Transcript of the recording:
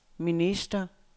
minister